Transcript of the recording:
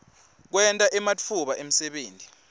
kwenta ematfuba emsebenti